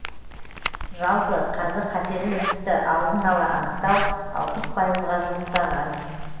жалпы қазір қатерлі ісікті алдын ала анықтау алпыс пайызға жуықтаған